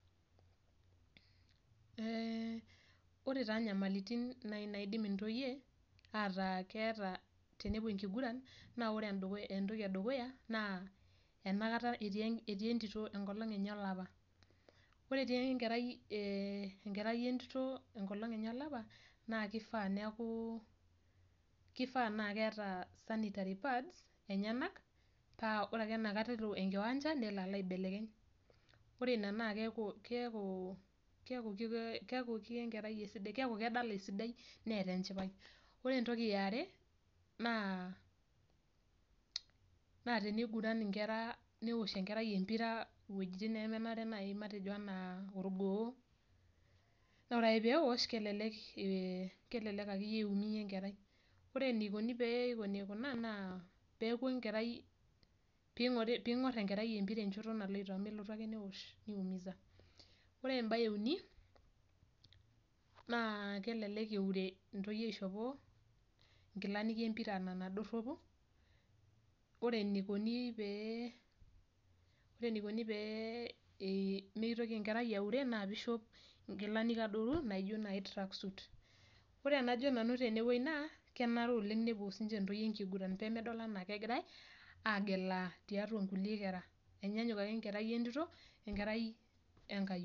Ee ore taa nyamalitin nai naidim intoyie ataa keeta tenepuo enkiguran, na ore entoki edukuya naa, enakata etii entito enkolong' enye olapa. Ore etii enkerai entito enkolong' enye olapa, na kifaa neeku kifaa na keeta sanitary pads enyanak, pa ore ake enakata elo enkiwanja, nelo alo aibelekeny. Ore ina naa keeku ketii enkerai esidai, keeku kedala esidai neeta enchipai. Ore entoki eare, naa na teniguran inkera neosh enkerai empira iwojiting nemenare nai matejo enaa orgoo, nore ake peosh, kelelek akeyie iumia enkerai. Ore enikoni pee ikoni kuna naa, peku enkerai ping'or enkerai empira enchoto naloito, melotu ake newosh niumiza. Ore ebae euni, naa kelelek eure intoyie aishopo inkilani empira nena dorropu, ore enikoni pee, ore enikoni pee mitoki enkerai aure naa pishop inkilani adoru naijo nai track suit. Ore enajo nanu tenewoi naa, kenare oleng nepuo sinche ntoyie enkiguran, pemedol enaa kegirai, agelaa tiatua nkulie kera. Enyanyuk ake enkerai entito, enkerai enkayioni.